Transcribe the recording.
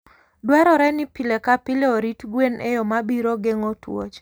Dwarore ni pile ka pile orit gwen e yo ma biro geng'o tuoche.